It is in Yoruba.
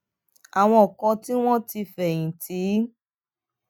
àwọn kan tí wón ti fèyìn tì ń